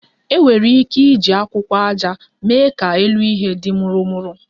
E nwere ike iji akwụkwọ aja mee ka elu ihe di murumuru